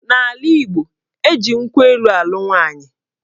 N'ala Igbo, eji nkwụ elu alụ nwaanyị